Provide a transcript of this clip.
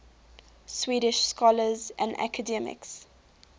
swedish scholars and academics